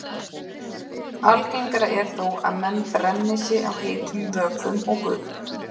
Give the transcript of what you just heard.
Algengara er þó að menn brenni sig á heitum vökvum og gufu.